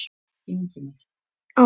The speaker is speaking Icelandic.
Ingimar og Finni Eydal.